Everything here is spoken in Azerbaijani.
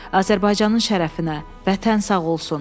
Azərbaycanın şərəfinə, Vətən sağ olsun!